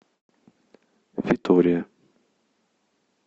витория